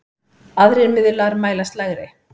Aðrir miðlar mælast lægri.